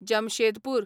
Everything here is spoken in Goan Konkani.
जमशेदपूर